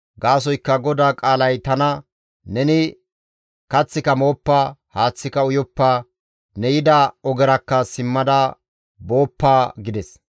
Gaasoykka GODAA qaalay tana, ‹Neni kaththika mooppa; haaththika uyoppa; ne yida ogerakka simmada booppa› » gides.